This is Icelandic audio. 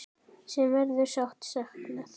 Sem verður sárt saknað.